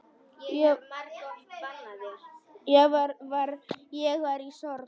Ég var í sorg.